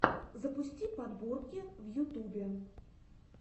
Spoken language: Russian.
запусти подборки в ютубе